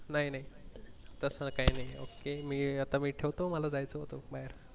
नाही नाही तसं काही नाही ok मी आता मी ठेवतो मला जायचंय होत बाहेर